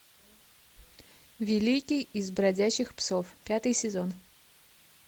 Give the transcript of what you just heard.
великий из бродячих псов пятый сезон